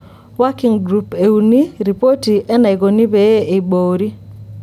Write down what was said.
Working Group euni:ripoti enaikoni pee eiboori.